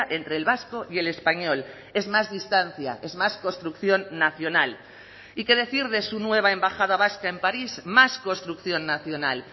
entre el vasco y el español es más distancia es más construcción nacional y qué decir de su nueva embajada vasca en parís más construcción nacional